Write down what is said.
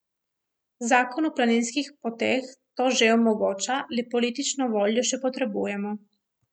Zakon o planinskih poteh to že omogoča, le politično voljo še potrebujemo.